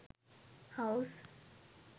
house